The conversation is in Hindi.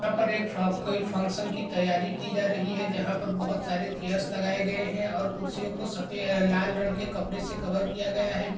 यहाँ पर एक फंक-- कोई फंक्शन की तैयारी की जा रही है जहां पर बहुत सारे चेयर्स लगाए गए हैं और कुर्सियों को सफेद-- अ लाल रंग के कपड़े से कवर किया गया है पीछे--